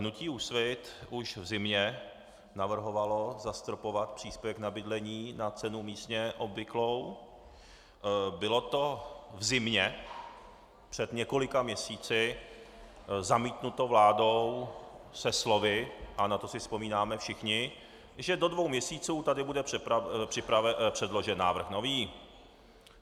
Hnutí Úsvit už v zimě navrhovalo zastropovat příspěvek na bydlení na cenu místně obvyklou, bylo to v zimě před několika měsíci zamítnuto vládou se slovy, a na to si vzpomínáme všichni, že do dvou měsíců tady bude předložen návrh nový.